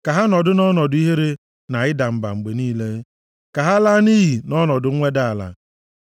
Ka ha nọdụ nʼọnọdụ ihere na ịda mba mgbe niile; ka ha laa nʼiyi nʼọnọdụ mweda nʼala.